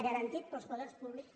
garantit pels poders públics